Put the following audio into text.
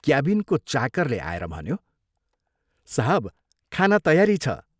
क्याबिनको चाकरले आएर भन्यो, " साहब खाना तयारी छ।